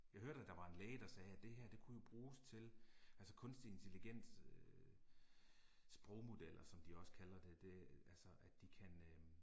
Jeg hørte at der var en læge der sagde at det her det kunne jo bruges til, altså kunstig intelligens øh sprogmodeller som de også kalder det det altså at de kan øh